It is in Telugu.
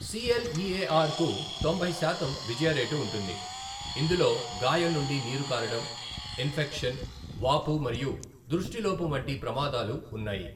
సిఎల్ఈఏఆర్ కు తొంభై శాతం విజయ రేటు ఉంటుంది, ఇందులో గాయం నుండి నీరు కారడం, ఇన్ఫెక్షన్, వాపు మరియు దృష్టిలోపం వంటి ప్రమాదాలు ఉన్నాయి.